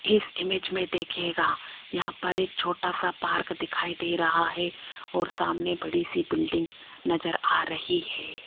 इस इमेज में देखिएगा यहां पर एक छोटा सा पार्क दिखाई दे रहा है और सामने बड़ी सी बिल्डिंग नजर आ रही है।